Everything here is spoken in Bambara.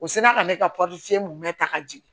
U sinna ka ne ka mun mɛ ta ka jigin